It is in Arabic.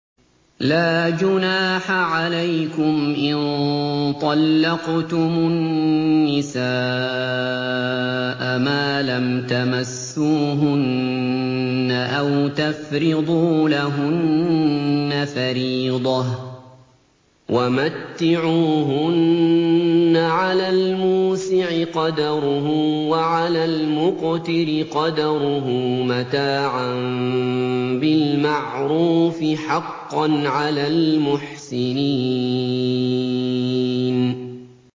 لَّا جُنَاحَ عَلَيْكُمْ إِن طَلَّقْتُمُ النِّسَاءَ مَا لَمْ تَمَسُّوهُنَّ أَوْ تَفْرِضُوا لَهُنَّ فَرِيضَةً ۚ وَمَتِّعُوهُنَّ عَلَى الْمُوسِعِ قَدَرُهُ وَعَلَى الْمُقْتِرِ قَدَرُهُ مَتَاعًا بِالْمَعْرُوفِ ۖ حَقًّا عَلَى الْمُحْسِنِينَ